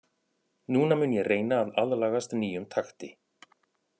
Núna mun ég reyna að aðlagast nýjum takti.